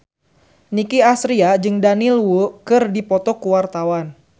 Nicky Astria jeung Daniel Wu keur dipoto ku wartawan